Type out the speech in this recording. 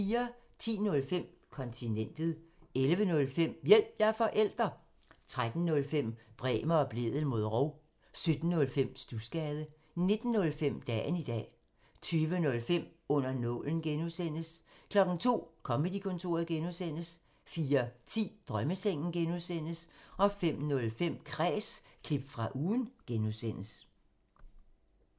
10:05: Kontinentet 11:05: Hjælp – jeg er forælder! 13:05: Bremer og Blædel mod rov 17:05: Studsgade 19:05: Dagen i dag 20:05: Under nålen (G) 02:00: Comedy-kontoret (G) 04:10: Drømmesengen (G) 05:05: Kræs – klip fra ugen (G)